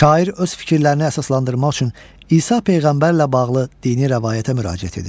Şair öz fikirlərini əsaslandırmaq üçün İsa Peyğəmbərlə bağlı dini rəvayətə müraciət edir.